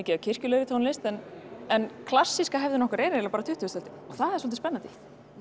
af kirkjulegri tónlist en en klassíska hefðin okkar er eiginlega bara tuttugasta öldin og það er svolítið spennandi